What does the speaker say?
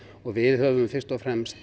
við höfum fyrst og fremst